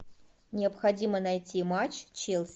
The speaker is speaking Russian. необходимо найти матч челси